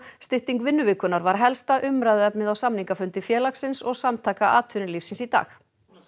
stytting vinnuvikunnar var helsta umræðuefnið á samningafundi félagsins og Samtaka atvinnulífsins í dag